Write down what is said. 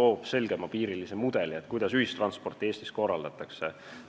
loob selgepiirilisema mudeli, kuidas ühistransporti Eestis korraldatakse.